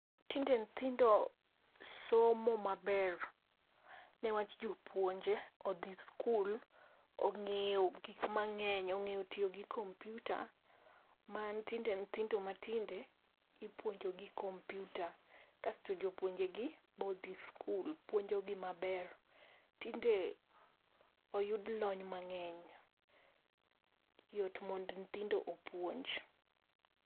Tinde nyithindo somo maber ne wach jopuonje odhi skul ong'eyo gik mang'eny, ong'eyo tiyo gi kompyuta ma tinde nyithindo matinde ipuonjo gi kompyuta . Kasto jopuonje gi be odhi skul puonjo gi maber. Tinde oyud lony mang'eny, yot mondo nyithindo opuonj